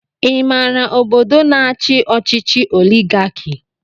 I maara ọbọdọ na-achi ọchịchị oligarki?